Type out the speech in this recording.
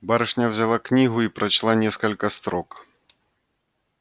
барышня взяла книгу и прочла несколько строк